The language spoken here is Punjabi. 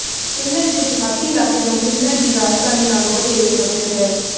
ਫਿਨਲੈਂਡ ਦੇ ਦਿਹਾਤੀ ਇਲਾਕਿਆਂ ਨੂੰ ਫਿਨਲੈਂਡ ਦੀ ਰਾਜਧਾਨੀ ਨਾਲੋਂ ਵਧੇਰੇ ਸੁਰੱਖਿਅਤ ਹੈ